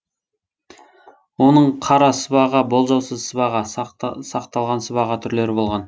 оның қара сыбаға болжаусыз сыбаға ақталған сыбаға түрлері болған